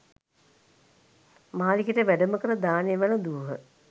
මාලිගයට වැඩම කර දානය වැළදූහ.